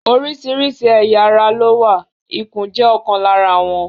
Oríṣiríṣi ẹ̀ya ara ló wà, ikùn jẹ́ ọ̀kan lára wọn.